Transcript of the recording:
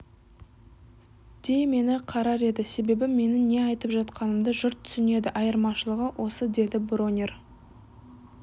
де мені қарар еді себебі менің не айтып жатқанымды жұрт түсінеді айырмашылығы осы деді бронер